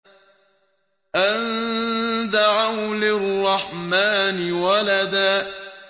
أَن دَعَوْا لِلرَّحْمَٰنِ وَلَدًا